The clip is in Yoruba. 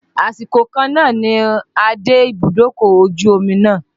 Àsìkò kan náà ni a dé ibùdókọ̀ ojú omi náà.